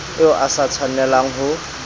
eo o sa tshwanelang ho